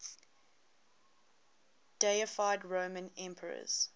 deified roman emperors